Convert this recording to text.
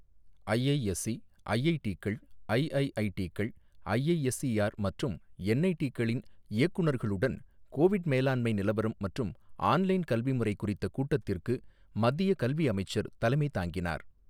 IISc, ஐஐடிக்கள், ஐஐஐடிக்கள், IISER மற்றும் என்ஐடிகளின் இயக்குநர்களுடன் கோவிட் மேலாண்மை நிலவரம் மற்றும் ஆன்லைன் கல்வி முறை குறித்த கூட்டத்திற்கு மத்திய கல்வி அமைச்சர் தலைமை தாங்கினார்.